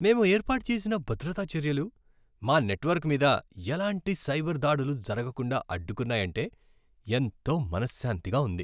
మేము ఏర్పాటు చేసిన భద్రతా చర్యలు మా నెట్వర్క్ మీద ఎలాంటి సైబర్ దాడులు జరగకుండా అడ్డుకున్నాయంటే ఎంతో మనశ్శాంతిగా ఉంది.